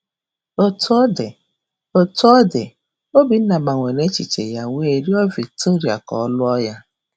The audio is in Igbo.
Otú ọ dị, Otú ọ dị, Obinna gbanwere echiche ya wee rịọ Victoria ka ọ lụọ ya.